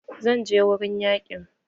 Zan je wurin yaƙin